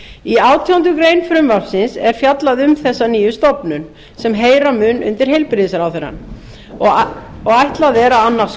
í átjándu grein frumvarpsins er fjallað um nýja stofnun sem heyra mun undir heilbrigðisráðherra og ætlað er að